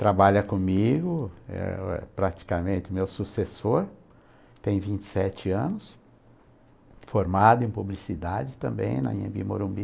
Trabalha comigo, é é praticamente meu sucessor, tem vinte e seteanos, formado em publicidade também na Anhebi Morumbi.